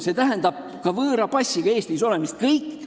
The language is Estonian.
See tähendab ka võõra passiga Eestis olemist.